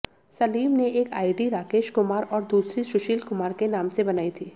सलीम ने एक आईडी राकेश कुमार और दूसरी सुशील कुमार के नाम से बनाई थी